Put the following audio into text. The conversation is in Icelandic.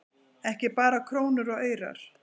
Ekki bara krónur og aurar